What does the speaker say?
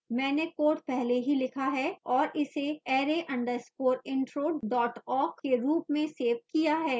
मैंने code पहले ही लिखा है और इसे array _ intro awk के रूप में सेव किया है